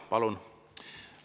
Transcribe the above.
Palun!